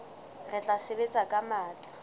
re tla sebetsa ka matla